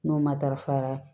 N'o ma darafa